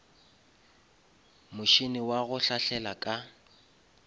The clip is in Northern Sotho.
motšhene wa go hlahlela ka